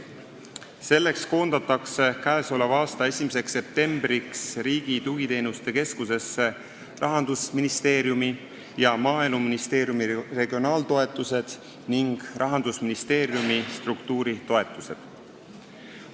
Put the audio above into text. Selleks koondatakse k.a 1. septembriks Riigi Tugiteenuste Keskusesse Rahandusministeeriumi ja Maaeluministeeriumi regionaaltoetused ning Rahandusministeeriumi struktuuritoetused.